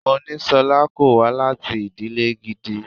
Monísọ́lá kò wá láti ìdílè gidi.